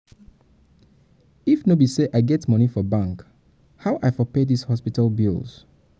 if no be say i get moni for bank um how i for pay dis hospital bills? um